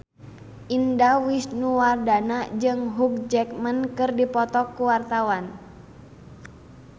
Indah Wisnuwardana jeung Hugh Jackman keur dipoto ku wartawan